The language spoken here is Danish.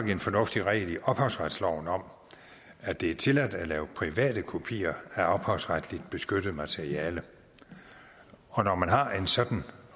en fornuftig regel i ophavsretsloven om at det er tilladt at lave private kopier af ophavsretsligt beskyttet materiale og når man har en sådan